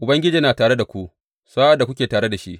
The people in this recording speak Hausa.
Ubangiji yana tare da ku sa’ad da kuke tare da shi.